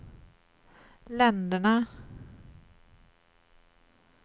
länderna